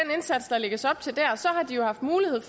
lægges op til der så har de jo haft mulighed